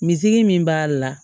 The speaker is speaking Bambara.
Misi min b'a la